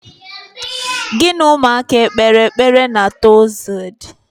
Gị na ụmụaka ekpeere ekpere na Tọzde?